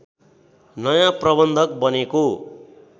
नयाँ प्रबन्धक बनेको